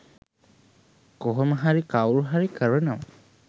කොහොම හරි කවුරු හරි කරනවා.